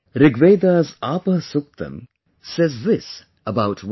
Rigveda'sApahSuktam says this about water